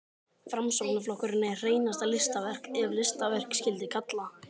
Framsóknarflokkurinn er hreinasta listaverk, ef listaverk skyldi kalla.